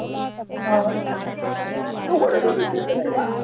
हा तु कुठ त्याच्या घरी आहे का?